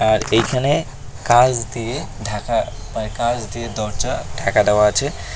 আর এইখানে কাঁচ দিয়ে ঢাকা মানে কাঁচ দিয়ে দরজা ঢাকা দেওয়া আছে।